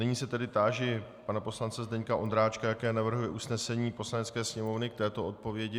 Nyní se tedy táži pana poslance Zdeňka Ondráčka, jaké navrhuje usnesení Poslanecké sněmovny k této odpovědi.